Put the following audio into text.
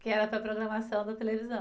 Que era para a programação da televisão.